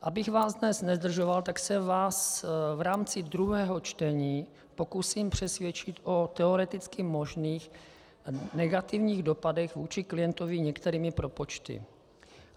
Abych vás dnes nezdržoval, tak se vás v rámci druhého čtení pokusím přesvědčit o teoreticky možných negativních dopadech vůči klientovi některými propočty.